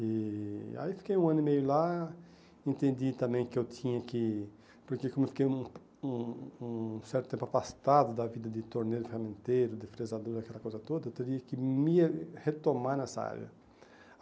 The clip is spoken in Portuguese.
E aí fiquei um ano e meio lá, entendi também que eu tinha que, porque como eu fiquei um um um certo tempo afastado da vida de torneiro, ferramenteiro, de frezador, daquela coisa toda, eu teria que me retomar nessa área.